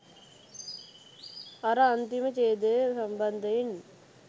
අර අන්තිම ඡේදය සම්බන්ධයෙන්